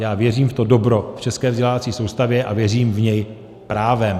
Já věřím v to dobro v české vzdělávací soustavě a věřím v ně právem.